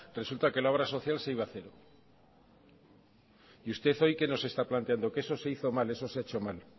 resulta que la obra social se iba hacer y usted hoy qué nos está planteando que eso se hizo mal eso se ha hecho mal